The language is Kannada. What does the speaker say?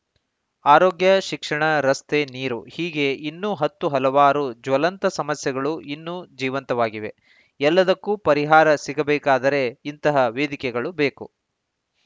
ಆರೋಗ್ಯ ಶಿಕ್ಷಣ ರಸ್ತೆ ನೀರು ಹೀಗೆ ಇನ್ನು ಹತ್ತು ಹಲವಾರು ಜ್ವಲಂತ ಸಮಸ್ಯೆಗಳು ಇನ್ನು ಜೀವಂತವಾಗಿವೆ ಎಲ್ಲದಕ್ಕೂ ಪರಿಹಾರ ಸಿಗಬೇಕಾದರೆ ಇಂತಹ ವೇದಿಕೆಗಳು ಬೇಕು